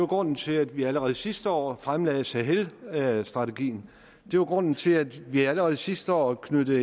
grunden til at vi allerede sidste år fremlagde sahelstrategien det var grunden til at vi allerede sidste år knyttede